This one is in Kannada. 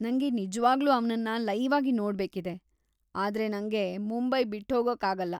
ನಂಗೆ ನಿಜ್ವಾಗ್ಲೂ ಅವ್ನನ್ನ ಲೈವ್‌ಆಗಿ ನೋಡ್ಬೇಕಿದೆ, ಆದ್ರೆ ನಂಗೆ ಮುಂಬೈ ಬಿಟ್ಹೋಗೊಕ್ಕಾಗಲ್ಲ.